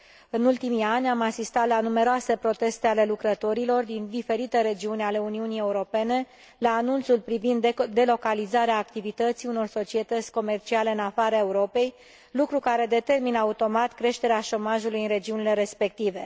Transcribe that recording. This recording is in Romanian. În ultimii ani, am asistat la numeroase proteste ale lucrătorilor din diferite regiuni ale Uniunii Europene la anunțul privind delocalizarea activității unor societăți comerciale în afara Europei, lucru care determină automat creșterea șomajului în regiunile respective.